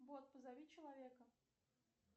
бот позови человека